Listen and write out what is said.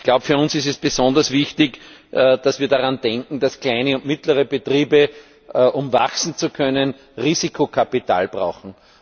Ich glaube, für uns ist es besonders wichtig, dass wir daran denken, dass kleine und mittlere Betriebe, um wachsen zu können, Risikokapital brauchen.